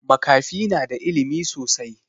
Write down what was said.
Makafi na da ilimi sosai